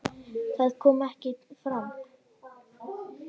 Það kom ekki fram.